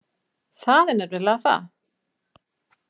Það er nefnilega það.